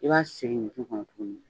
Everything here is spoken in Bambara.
I b'a sigi ɲintin kɔnɔ tuguni